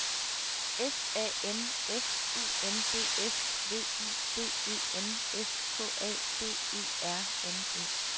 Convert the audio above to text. S A M F U N D S V I D E N S K A B E R N E